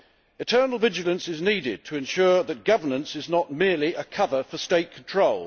Eternal vigilance is needed to ensure that governance is not merely a cover for state control.